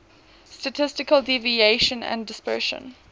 statistical deviation and dispersion